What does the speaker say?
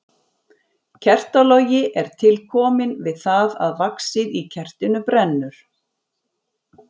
Kertalogi er til kominn við það að vaxið í kertinu brennur.